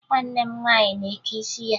Nwanne m nwaanyị na-eke isi ya